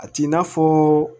A t'i n'a fɔ